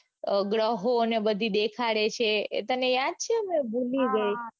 ગ્રહોને બધું દેખાડે છે એ તને યાદ છે કે ભૂલી ગઈ